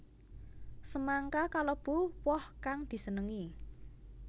Semangka kalebu woh kang disenengi